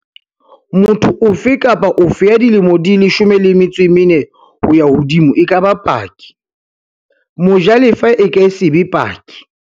Motho ofe kapa ofe ya dilemo di 14 ho ya hodimo e ka ba paki. Mojalefa e ka se be paki.